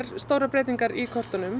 stórar breytingar í kortunum